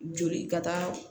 Joli ka taa